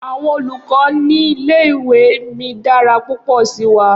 Awọn olukọ ni ile-iwe mi dara pupọ si wa.